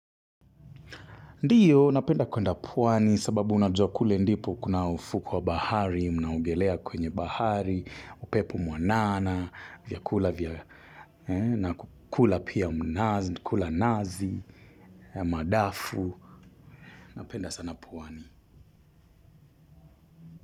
Ndiyo, napenda kuenda pwani sababu unajua kule ndipo kuna ufuu wa bahari, unaogelea kwenye bahari, upepo mwanana, vyakula vya, na kukula pia mnazi, kula nazi, madafu, napenda sana pwani.